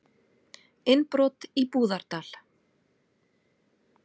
Innbrot í Búðardal